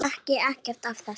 Ég þekki ekkert af þessu.